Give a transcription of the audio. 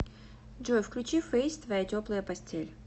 джой включи фэйс твоя теплая постель